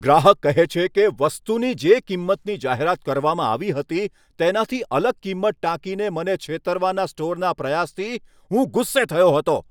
ગ્રાહક કહે છે કે, વસ્તુની જે કિંમતની જાહેરાત કરવામાં આવી હતી તેનાથી અલગ કિંમત ટાંકીને મને છેતરવાના સ્ટોરના પ્રયાસથી હું ગુસ્સે થયો હતો.